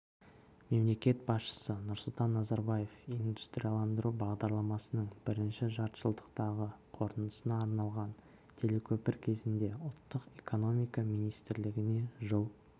мемлекет басшысы нұрсұлтан назарбаев индустрияландыру бағдарламасының бірінші жартыжылдықтағы қорытындысына арналған телекөпір кезінде ұлттық экономика министрлігіне жыл